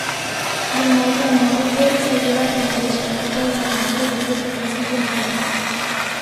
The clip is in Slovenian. Gimnazije Maribor, sledile pa jim bodo še ekipe osemnajstih drugih slovenskih gimnazij.